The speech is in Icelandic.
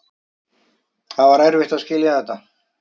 Það var erfitt að skilja þetta.